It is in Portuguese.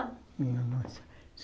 Nenhuma.